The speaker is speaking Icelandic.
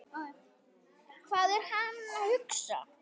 Hvað er hann að hugsa?